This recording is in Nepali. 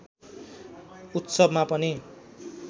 उत्सवमा पनि